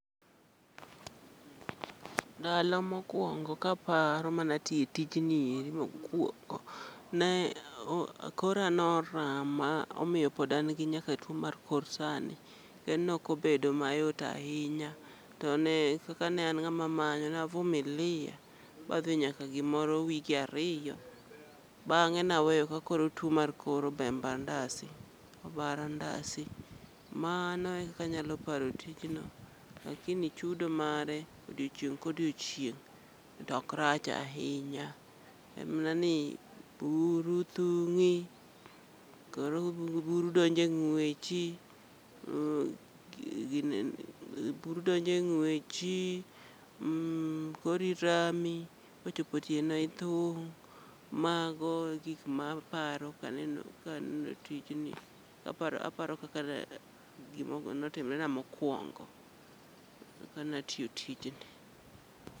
Ndalo mokwongo kaparo manatiye tijni eri mokwongo, ne kora norama omiyo pod an nyaka gi tuo mar kor sani. Kendo nokobedo mayot ahinya to ne kaka ne an ng'ama manyo, na vumilia madhi nyaka gimoro wige ariyo. Bang'e naweyo ka koro tuo mar kor obemba ndasi, obara ndasi. Mano e kaka anyalo paro tijno, lakini chudo mare odiochieng' kodiochieng' tok rach ahinya. En mana ni buru thung'i, koro buro donje ng'wechi, uh gine buru donje ng'wechi. Mmh, kori rami, kochopo otieno ithung'. Mago e gik ma aparo kaneno ka aneno tijni. Aparo kaka ne gima notimre na mokwongo ka natiyo tijni.